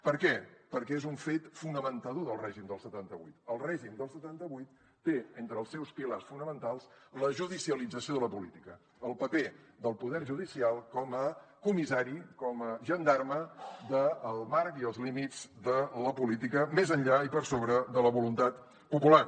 per què perquè és un fet fonamentador del règim del setanta vuit el règim del setanta vuit té entre els seus pilars fonamentals la judicialització de la política el paper del poder judicial com a comissari com a gendarme del marc i els límits de la política més enllà i per sobre de la voluntat popular